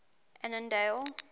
annandale